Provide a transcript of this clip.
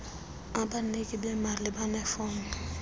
abaniki bemali banefom